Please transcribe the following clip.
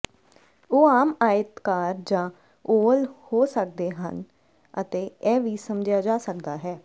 ਉਹ ਆਮ ਆਇਤਾਕਾਰ ਜਾਂ ਓਵਲ ਹੋ ਸਕਦੇ ਹਨ ਅਤੇ ਇਹ ਵੀ ਸਮਝਿਆ ਜਾ ਸਕਦਾ ਹੈ